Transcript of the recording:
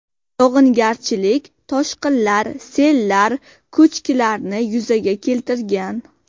Yog‘ingarchilik toshqinlar, sellar, ko‘chkilarni yuzaga keltirgan.